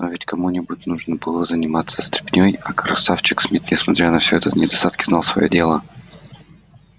но ведь кому нибудь нужно было заниматься стряпней а красавчик смит несмотря на все его недостатки знал своё дело